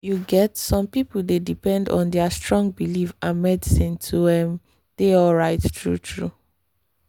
you get some people dey depend on their strong belief and medicine to ehm dey alright true-true.